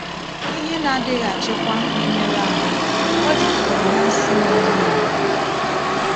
“Ihe na-adịghị achịkwa na-emerụ ahụ, ọ jupụtara na nsi na-egbu egbu.”